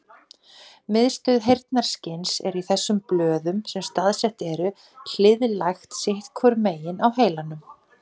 Miðstöð heyrnarskyns er í þessum blöðum sem staðsett eru hliðlægt sitt hvoru megin á heilanum.